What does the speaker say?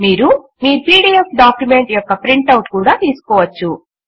మీరు మీ PDF document యొక్క ప్రింట్ ఔట్ కూడా తీసుకోవచ్చు